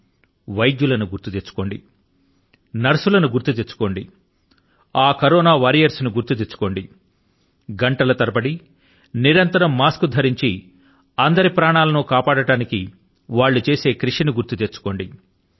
ఆ వైద్యులను గుర్తు తెచ్చుకోండి ఆ నర్సుల ను గుర్తు తెచ్చుకోండి ఆ కరోనా వారియర్స్ ను గుర్తు తెచ్చుకోండి గంటల తరబడి నిరంతరం మాస్క్ ను ధరించి అందరి ప్రాణాల ను కాపాడడానికి వాళ్ళు చేసే కృషి ని గుర్తు తెచ్చుకోండి